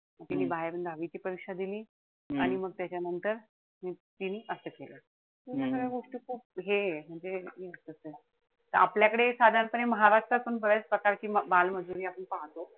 तिनी बाहेरून दहावीची परीक्षा दिली आणि मग त्याच्यानंतर तिनी असं केलं. ह्या साऱ्या गोष्टी खूप हे आहे. म्हणजे आपल्याकडे साधारणपणे महाराष्ट्रात पण बऱ्याच प्रकारची बालमजुरी पाहतो.